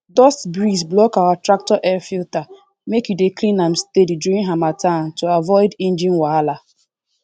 dust breeze block our tractor air filtermake you dey clean am steady during harmattan to avoid engine wahala